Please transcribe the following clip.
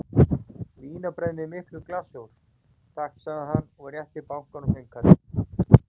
Vínarbrauð með miklum glassúr, takk sagði hann og rétti bakaranum fimmkallinn.